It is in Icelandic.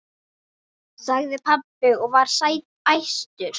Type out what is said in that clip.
sagði pabbi og var æstur.